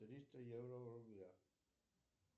триста евро в рублях